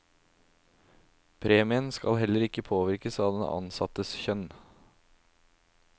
Premien skal heller ikke påvirkes av den ansattes kjønn.